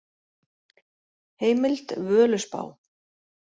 Heimild: Völuspá.